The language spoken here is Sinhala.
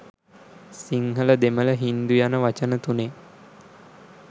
සිංහල දෙමළ හින්දු යන වචන තුනේ